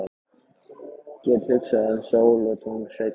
Get hugsað um sól og tungl seinna.